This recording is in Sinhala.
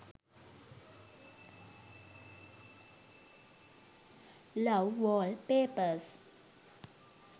love wallpepars